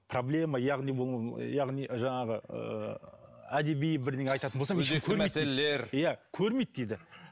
проблема яғни бұл яғни жаңағы ыыы әдеби бірдеңе айтатын болсам ешкім көрмейді дейді иә көрмейді дейді